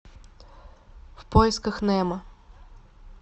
в поисках немо